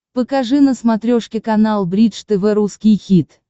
покажи на смотрешке канал бридж тв русский хит